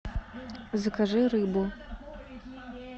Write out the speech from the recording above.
закажи рыбу